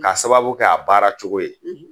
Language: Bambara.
K'a sababu kɛ a baara cogo ye